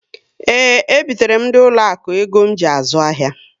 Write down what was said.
Ee, e bitere m ndị ụlọ akụ ego ji azụ ahịa